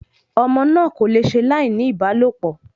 Ọmọ náà kò le ṣe láì ní ìbálòpọ̀